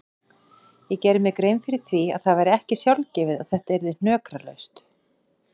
Ég gerði mér grein fyrir því að það væri ekki sjálfgefið að þetta yrði hnökralaust.